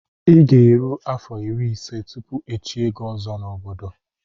I ga-eru afọ irí ise tụpụ ichié ozo na ọbọdọ m.